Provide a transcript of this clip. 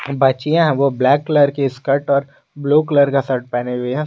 बच्चियां है वो ब्लैक कलर के स्कर्ट और ब्लू कलर का शर्ट पहने हुए है।